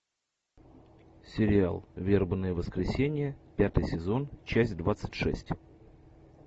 сериал вербное воскресенье пятый сезон часть двадцать шесть